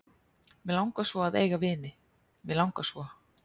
Mig langar svo að eiga vini, mig langar svo.